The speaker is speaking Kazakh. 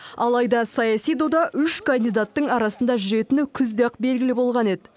алайда саяси дода үш кандидаттың арасында жүретіні күзде ақ белгілі болған еді